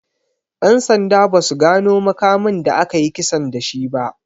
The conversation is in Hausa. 'Yan sanda ba su gano makamin da aka yi kisan da shi ba.